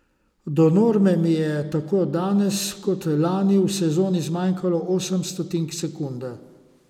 Do norme mi je tako danes kot lani v sezoni zmanjkalo osem stotink sekunde.